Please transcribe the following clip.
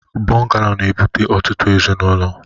Bụngalo na-ebute ọtụtụ ezinụlọ.